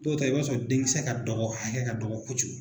Dɔw ta ye i b'a sɔrɔ denkisɛ ka dɔgɔ hakɛ ka dɔgɔ kojugu.